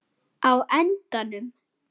á endanum